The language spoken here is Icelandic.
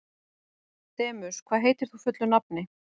Demus, hvað heitir þú fullu nafni?